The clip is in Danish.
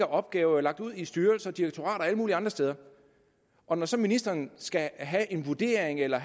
opgaver lagt ud i styrelser direktorater og alle mulige andre steder og når så ministeren skal have en vurdering eller